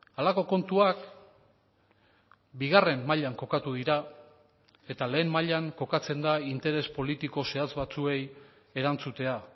halako kontuak bigarren mailan kokatu dira eta lehen mailan kokatzen da interes politiko zehatz batzuei erantzutea